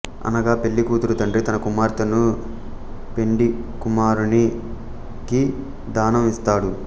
అనగా పెళ్ళి కూతురి తండ్రి తన కుమార్తెను పెండి కుమారునికి దానం ఇస్తాడు